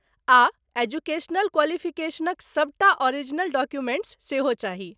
आ एजुकेशनल क्वालिफिकेशनक सबटा ओरिजिनल डॉक्यूमेंट्स सेहो चाही।